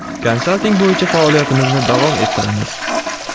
Konsalting bo‘yicha faoliyatimizni davom ettiramiz.